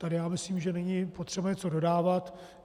Tady si myslím, že není potřeba něco dodávat.